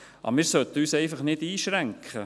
Aber wir sollten uns einfach nicht einschränken.